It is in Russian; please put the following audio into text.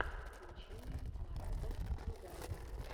включи мне марата нугаева